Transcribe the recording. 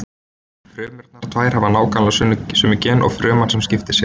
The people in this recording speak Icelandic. Frumurnar tvær hafa nákvæmlega sömu gen og fruman sem skipti sér.